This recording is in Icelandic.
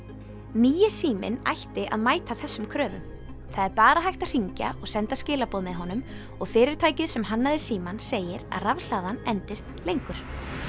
nýi síminn ætti að mæta þessum kröfum það er bara hægt að hringja og senda skilaboð með honum og fyrirtækið sem hannaði símann segir að rafhlaðan endist lengur